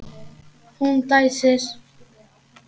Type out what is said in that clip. Hún dæsir.